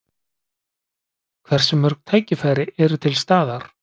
Hversu mörg tækifæri eru til staðar?